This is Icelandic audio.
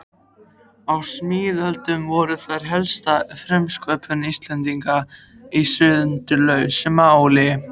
Á síðmiðöldum voru þær helsta frumsköpun Íslendinga í sundurlausu máli.